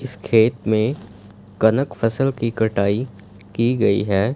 इस खेत में कनक फसल की कटाई की गई हैं।